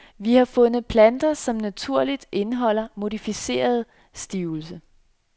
Vi har fundet planter som naturligt indeholder modificeret stivelse.